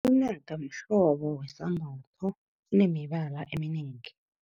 Inaka mhlobo wesambatho, sinemibala eminengi.